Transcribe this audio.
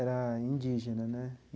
Era indígena, né?